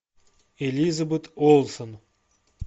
элизабет олсен